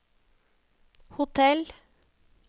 hotell